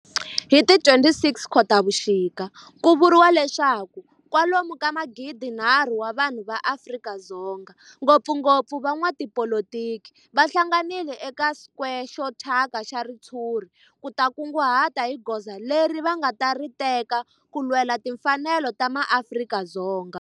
Hi ti 26 Khotavuxika ku vuriwa leswaku kwalomu ka magidi-nharhu wa vanhu va Afrika-Dzonga, ngopfungopfu van'watipolitiki va hlanganile eka square xo thyaka xa ritshuri ku ta kunguhata hi goza leri va nga ta ri teka ku lwela timfanelo ta maAfrika-Dzonga.